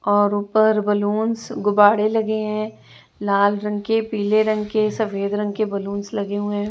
और ऊपर बैलून्स गुब्बारे लगे है लाल रंग के पीले रंग के सफेद रंग के बैलून्स लगे हुए है।